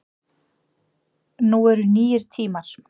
Nú eru nýir tímar